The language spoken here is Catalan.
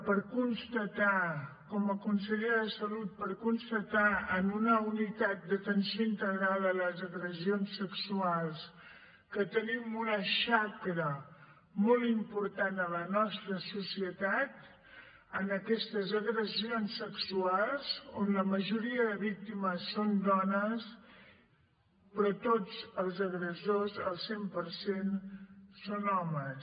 per constatar com a consellera de salut per constatar en una unitat d’atenció integrada a les agressions sexuals que tenim una xacra molt important a la nostra societat amb aquestes agressions sexuals on la majoria de víctimes són dones però tots els agressors al cent per cent són homes